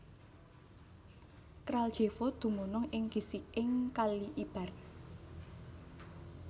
Kraljevo dumunung ing gisiking Kali Ibar